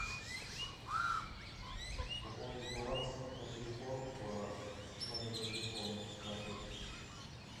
пополнить баланс на телефон по номеру телефона с карты